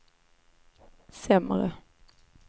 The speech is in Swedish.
sämre